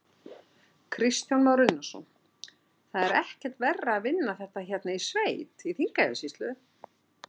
Kristján Már Unnarsson: Það er ekkert verra að vinna þetta hérna í sveit, í Þingeyjarsýslu?